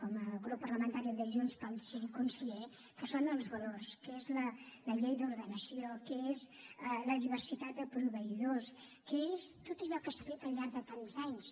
com a grup parlamentari de junts pel sí conseller que són els valors que és la llei d’ordenació que és la diversitat de proveïdors que és tot allò que s’ha fet al llarg de tants anys